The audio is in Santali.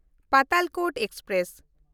ᱯᱟᱛᱟᱞᱠᱳᱴ ᱮᱠᱥᱯᱨᱮᱥ